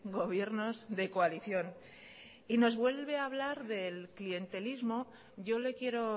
gobiernos de coalición y nos vuelve a hablar del clientelismo yo le quiero